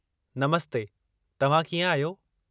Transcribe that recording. नमस्ते, तव्हां कीअं आहियो?